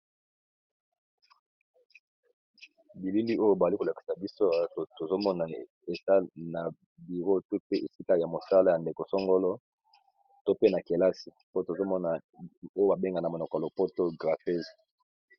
Bilili oyo bali kolakisa biso bato tozomona esale na biro tou pe esika ya mosala ya ndeko songolo to pena kelasi po tozomona oyo babengana monoko ya lopoto graphese